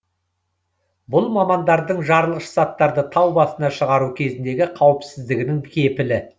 бұл мамандардың жарылғыш заттарды тау басына шығару кезіндегі қауіпсіздігінің кепілі